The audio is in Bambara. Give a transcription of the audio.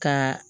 Ka